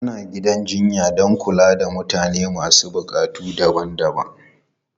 Ana gidan jinya don kula da mutane masu buƙatu daban-daban.